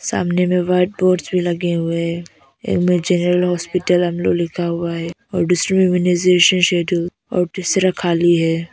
सामने में white boards भी लगे हुए है। एक मे जनरल हॉस्पिटल आलो लिखा हुआ है और दूसरे इम्यूनाइजेशन शेड्यूल और तीसरा खाली है।